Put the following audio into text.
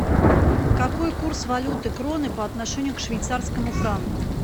какой курс валюты кроны по отношению к швейцарскому франку